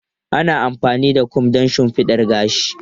Ana amfani da kom don shimfiɗa gashi.